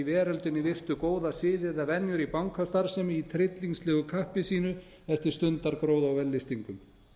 veröldinni virtu góða siði eða venjur í bankastarfsemi í tryllingslegu kappi sínu eftir stundargróða og vellystingum